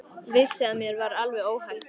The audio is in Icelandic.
Vissi að mér var alveg óhætt.